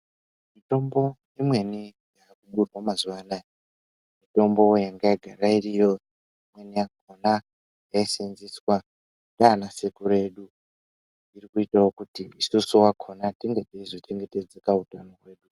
Mitombo imweni imweni inotorwa mamazuwa anaawa mitombo yanga yagara iriyo imweni yakona yaiseenzeswa nana sekuru edu kuitira kuti isusu akona tinge tichizo chengetedzaka wo.